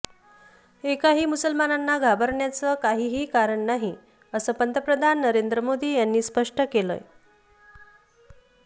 एकाही मुस्लिमांना घाबरण्याचं काहीही कारण नाही असं पंतप्रधान नरेंद्र मोदी यांनी स्पष्ट केलंय